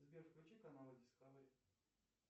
сбер включи каналы дискавери